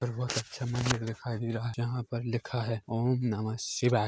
और बहुत अच्छा मंदिर दिखाई दे रहा है जहाँ पर लिखा है ओम नम :शिवाय --